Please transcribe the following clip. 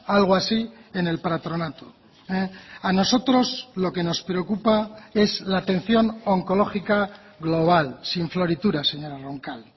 algo así en el patronato a nosotros lo que nos preocupa es la atención oncológica global sin florituras señora roncal